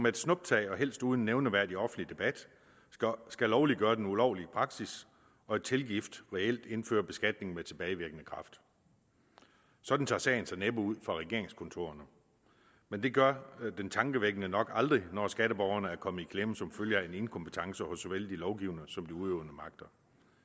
et snuptag og helst uden nævneværdig offentlig debat skal lovliggøre den ulovlige praksis og i tilgift reelt indføre beskatning med tilbagevirkende kraft sådan tager sagen sig næppe ud fra regeringskontorerne men det gør den tankevækkende nok aldrig når skatteborgerne er kommet i klemme som følge af inkompetence hos såvel de lovgivende som udøvende magter